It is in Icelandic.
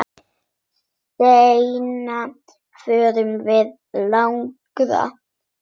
Seinna förum við lengra.